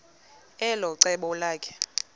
elo cebo lakhe